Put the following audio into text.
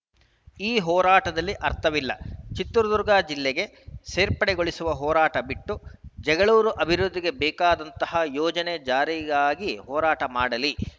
ಈ ಹೋರಾಟದಲ್ಲಿ ಅರ್ಥವಿಲ್ಲ ಚಿತ್ರದುರ್ಗ ಜಿಲ್ಲೆಗೆ ಸೇರ್ಪಡೆಗೊಳಿಸುವ ಹೋರಾಟ ಬಿಟ್ಟು ಜಗಳೂರು ಅಭಿವೃದ್ಧಿಗೆ ಬೇಕಾದಂತಹ ಯೋಜನೆ ಜಾರಿಗಾಗಿ ಹೋರಾಟ ಮಾಡಲಿ